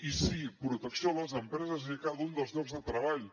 i sí protecció a les empreses i a cada un dels llocs de treball